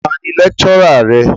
Ta ni lecturer rẹ?